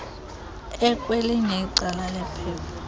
ekwelinye icala lephepha